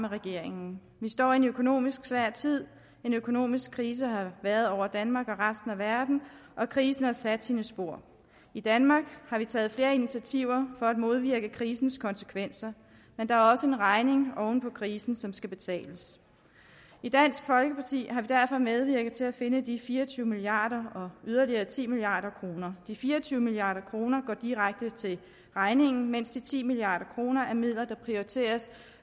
regeringen vi står i en økonomisk svær tid en økonomisk krise har været over danmark og resten af verden og krisen har sat sine spor i danmark har vi taget flere initiativer for at modvirke krisens konsekvenser men der er også en regning oven på krisen som skal betales i dansk folkeparti har vi derfor medvirket til at finde de fire og tyve milliard kroner og yderligere ti milliard kroner de fire og tyve milliard kroner går direkte til regningen mens de ti milliard kroner er midler der prioriteres